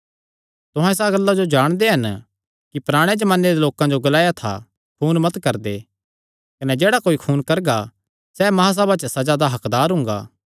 तुहां इसा गल्ला जो जाणदे हन कि पराणे जमाने दे लोकां जो ग्लाया था खून मत करदे कने जेह्ड़ा कोई खून करगा सैह़ महासभा च सज़ा दा हक्कदार हुंगा